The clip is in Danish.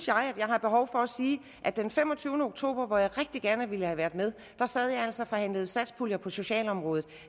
jeg har behov for at sige at den femogtyvende oktober hvor jeg rigtig gerne ville have været med sad jeg altså og forhandlede satspulje på socialområdet